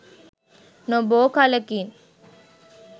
නොබෝ කලකින්